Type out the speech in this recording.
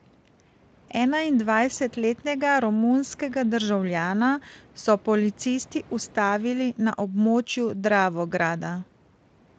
Enaindvajsetletnega romunskega državljana so policisti ustavili na območju Dravograda.